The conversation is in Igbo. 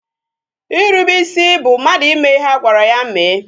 Irube isi bụ mmadụ ime ihe a gwara ya mee